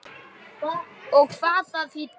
Og hvað það þýddi.